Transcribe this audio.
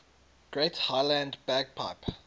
great highland bagpipe